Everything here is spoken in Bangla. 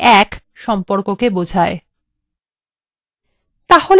যা এক থেকে এক সম্পর্ককে বোঝায়